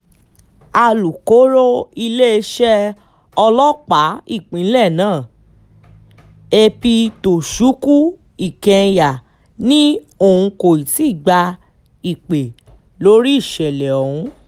alūkọ̀rọ̀ iléeṣẹ́ ọlọ́pàá ìpínlẹ̀ náà ap tochukwu i kenya ni òun kò ti gba ìpè lórí ìṣẹ̀lẹ̀ ọ̀hún